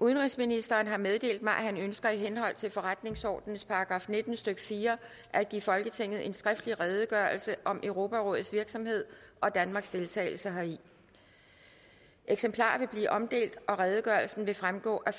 udenrigsministeren har meddelt mig at han ønsker i henhold til forretningsordenens § nitten stykke fire at give folketinget en skriftlig redegørelse om europarådets virksomhed og danmarks deltagelse heri eksemplarer vil blive omdelt og redegørelsen vil fremgå af